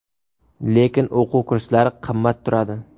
Lekin o‘quv kurslari qimmat turadi.